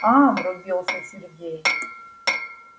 аа врубился сергей